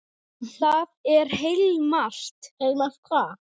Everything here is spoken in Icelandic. Það er heilmargt.